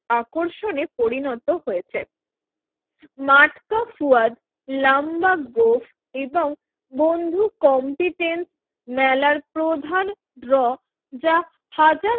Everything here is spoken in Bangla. আকর্ষণে পরিণত হয়েছে মাটকা ফুয়াদ, লম্বা গোঁফ, এবংবধূ কম্পিটেন্স মেলার প্রধান ড্র যা হাজার